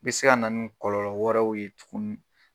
Be se kana n kɔlɔlɔ wɛrɛw ye tuguni